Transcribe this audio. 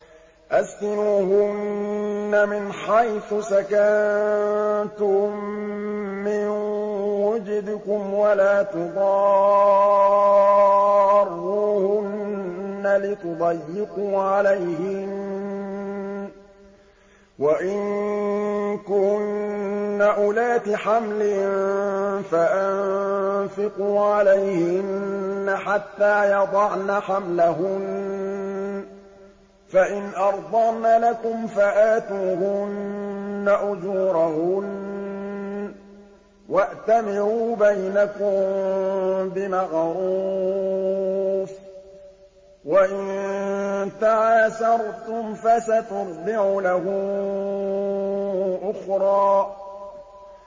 أَسْكِنُوهُنَّ مِنْ حَيْثُ سَكَنتُم مِّن وُجْدِكُمْ وَلَا تُضَارُّوهُنَّ لِتُضَيِّقُوا عَلَيْهِنَّ ۚ وَإِن كُنَّ أُولَاتِ حَمْلٍ فَأَنفِقُوا عَلَيْهِنَّ حَتَّىٰ يَضَعْنَ حَمْلَهُنَّ ۚ فَإِنْ أَرْضَعْنَ لَكُمْ فَآتُوهُنَّ أُجُورَهُنَّ ۖ وَأْتَمِرُوا بَيْنَكُم بِمَعْرُوفٍ ۖ وَإِن تَعَاسَرْتُمْ فَسَتُرْضِعُ لَهُ أُخْرَىٰ